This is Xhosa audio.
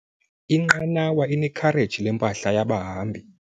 Inqanawa inekhareji lempahla yabahambi.